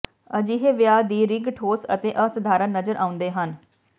ਅਜਿਹੇ ਵਿਆਹ ਦੀ ਰਿੰਗ ਠੋਸ ਅਤੇ ਅਸਾਧਾਰਨ ਨਜ਼ਰ ਆਉਂਦੇ ਹਨ